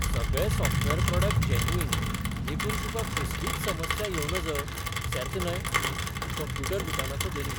सगळे software product genuine देखून तुका कसलीच समस्या येवं नज, सेर्त न्हय ? कंप्युटर दुकानाचो धनी